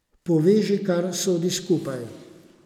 Poveži, kar sodi skupaj.